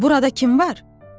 Burada kim var?